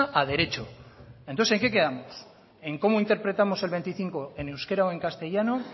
a derecho entonces en qué quedamos en cómo interpretamos el veinticinco en euskera o en castellano